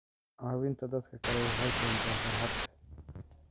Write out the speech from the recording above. Caawinta dadka kale waxay keentaa farxad.